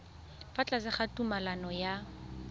fa tlase ga tumalano ya